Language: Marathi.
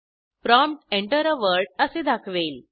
प्रॉम्प्ट Enter आ word असे दाखवेल